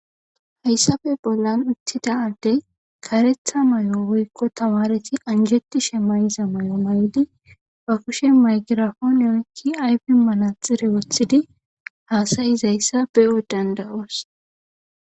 Hayssafe bollan uttida adde karetha may'o woykko tawareti anjeti shemayiza ma'o may'di ba kushe maygirafooniyoykki ayfi manaxire woththidi haasayizayssa b'o dandawoos.